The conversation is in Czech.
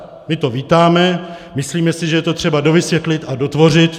My to vítáme, myslíme si, že je to třeba dovysvětlit a dotvořit.